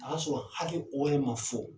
O y'a sɔrɔ hakɛ, o ma fɔ.